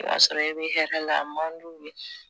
I y'a sɔrɔ i bɛ hɛrɛ la a man di u ye